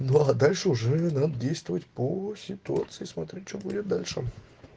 ну а дальше уже надо действовать по ситуации смотреть что будет дальше